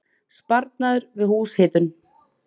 Sparnaður við húshitun